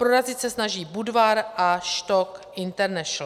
Prorazit se snaží Budvar a STOCK International.